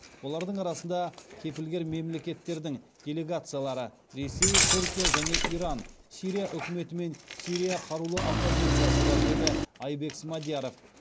олардың арасында кепілгер мемлекеттердің делегациялары ресей түркия және иран сирия үкіметі мен сирия қарулы оппозициясы бар деді айбек смадияров